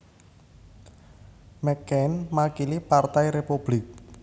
McCain makili Partai Republik